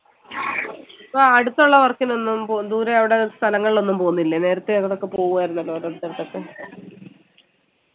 ഇപ്പോ അടുത്തുള്ള work നൊന്നു പ്പോ ദൂരെ അവിടെ സ്ഥലങ്ങളിൽ ഒന്നും പോന്നില്ലേ നേരത്തെ അവിടൊക്കെ പോകായിരുന്നല്ലോ ഓരോ സ്ഥലത്തൊക്കെ